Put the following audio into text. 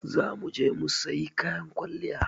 Za mu je mu sayi kayan kwalliya.